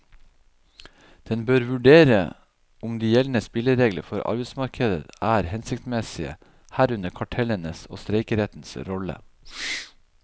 Den bør vurdere om de gjeldende spilleregler for arbeidsmarkedet er hensiktsmessige, herunder kartellenes og streikerettens rolle.